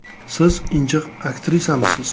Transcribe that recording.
Siz injiq aktrisamisiz?